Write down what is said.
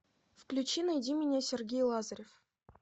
включи найди меня сергей лазарев